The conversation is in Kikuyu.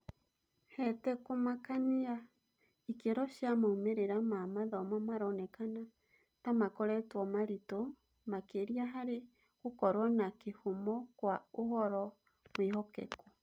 Hetekũmakania, ikĩro cia moimĩrĩra ma mathomo maronekana tamakoretwo maritũ makĩria harĩ gũkorwo na kĩhumo kwa ũhoro mwihokeku.